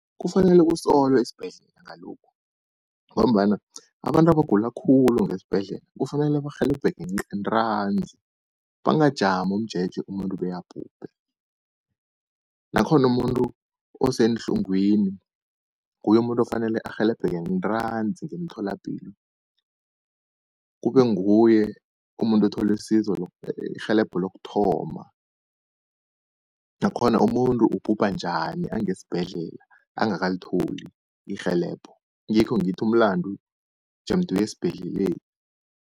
Kufanele kusolwe isibhedlela ngalokhu, ngombana abantu abagula khulu ngesibhedlela kufanele barhelebheke ntanzi, bangajami umjeje umuntu bekabhubhe. Nakhona umuntu oseenhlungwini nguye umuntu ofanele arhelebheke ntanzi ngemtholapilo, kube nguye umuntu othola isizo irhelebho lokuthoma. Nakhona umuntu ubhubha njani angesibhedlela angakalitholi irhelebho. Ngikho ngithi umlandu jemde uye esibhedleleni.